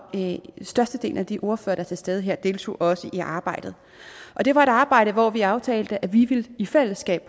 størstedelen af de ordførere der er til stede her deltog også i arbejdet det var et arbejde hvor vi aftalte at vi i fællesskab